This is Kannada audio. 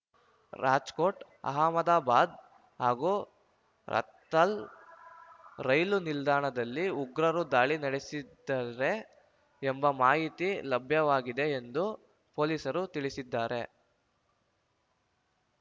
ರಾಜ್‌ಕೋಟ್‌ ಅಹಮದಾಬಾದ್‌ ಹಾಗೂ ರತ್ತಲ್ ರೈಲು ನಿಲ್ದಾಣಗಳಲ್ಲಿ ಉಗ್ರರು ದಾಳಿ ನಡೆಸಲಿದ್ದಾರೆ ಎಂಬ ಮಾಹಿತಿ ಲಭ್ಯವಾಗಿದೆ ಎಂದು ಪೊಲೀಸರು ತಿಳಿಸಿದ್ದಾರೆ